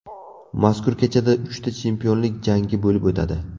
Mazkur kechada uchta chempionlik jangi bo‘lib o‘tadi.